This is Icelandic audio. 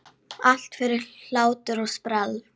Allt fyrir hlátur og sprell!